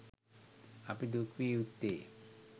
අපි දුක් විය යුත්තේ